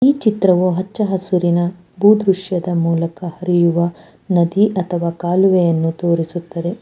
ಈ ಚಿತ್ರವು ಹಚ್ಚಹಸುರಿನ ಭೂ ದೃಶ್ಯದ ಮೂಲಕ ಹರಿಯುವ ನದಿ ಅಥವಾ ಕಾಲುವೆಯನ್ನು ತೋರಿಸುತ್ತದೆ.